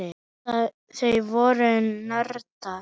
Þau voru nördar.